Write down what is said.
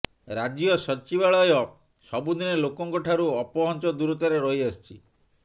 ରାଜ୍ୟ ସଚିବାଳୟ ସବୁଦିନେ ଲୋକଙ୍କଠାରୁ ଅପହଞ୍ଚ ଦୂରତାରେ ରହି ଆସିଛି